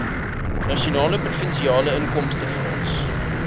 nasionale provinsiale inkomstefonds